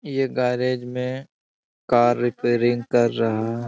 ये garage garage में car repairing कर रहे हैं।